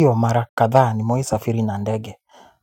Ndiyo mara kadhaa nimewahi safiri na ndege,